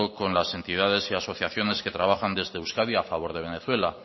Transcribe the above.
con las entidades y asociaciones que trabajan desde euskadi a favor de venezuela